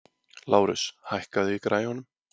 Lárus, hækkaðu í græjunum.